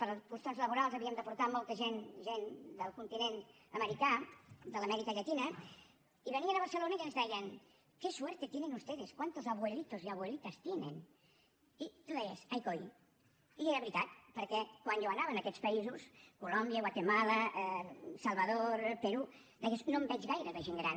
per qüestions laborals havíem de portar molta gent gent del continent americà de l’amèrica llatina i venien a barcelona i ens deien qué suerte tienen ustedes cuántos abuelitos y abuelitas tienen i tu deies ai coi i era veritat perquè quan jo anava a aquests països colòmbia guatemala salvador perú deies no en veig gaire de gent gran